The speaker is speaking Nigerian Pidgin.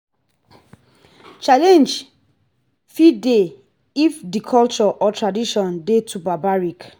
challenge fit dey if di culture or tradition dey too barbaric